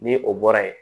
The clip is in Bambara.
Ni o bɔra yen